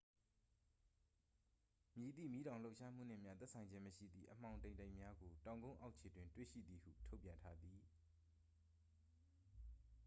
မည်သည့်မီးတောင်လှုပ်ရှားမှုနှင့်မျှ သက်ဆိုင်ခြင်းမရှိသည့် အမှောင်တိမ်တိုက်များကို တောင်ကုန်းအောက်ခြေတွင် တွေ့ရှိသည်ဟု ထုတ်ပြန်ထားသည်